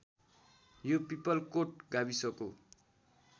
यो पिपलकोट गाविसको